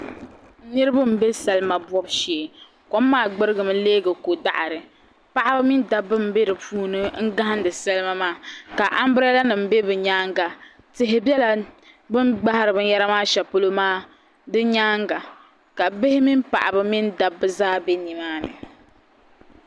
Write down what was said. Niriba n bɛ salima bɔbu shɛɛ kom maa gbarigi mi lɛɛ ko daɣiri paɣaba mini dabba n bɛ dinni n gahidi salima maa ka ambrɛla nim bɛ bi yɛanga tihi bɛ la bini gbahiri bini yara maa shɛli polo maa di yɛanga ka bihi mini paɣaba mini dabba zaa bɛ nimaani.